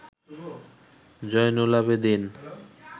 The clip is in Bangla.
জয়নুল আবেদীন